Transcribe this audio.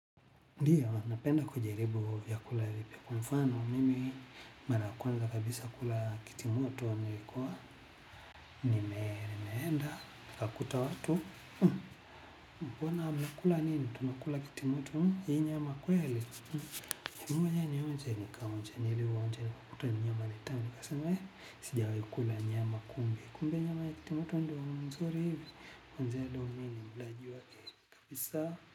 Ndio, napenda kujaribu vyakula vipya kwa mfano, mimi mara ya kwanza kabisa kula kitimoto nilikuwa, nimeenda nikakuta watu, mbona mnakula nini, tunakula kitimoto hii nyama kweli, mimi mwenyewe nionje nikaonja nilivyoonja nikakuta hii nyama ni tamu, nikasema, sijawahi kula nyama kumbe, kumbe nyama ya kitimoto, ndo nzuri hivi, kuanzia leo mimi ni mlaji wake kabisa.